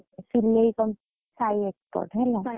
ସିଲେଇ company Sai Export ହେଲା।